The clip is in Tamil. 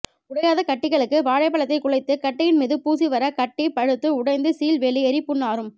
உடையாத கட்டிகளுக்கு வாழைப்பழத்தை குழைத்து கட்டியின் மீது பூசிவர கட்டி பழுத்து உடைந்து சீழ் வெளியேறி புண் ஆறும்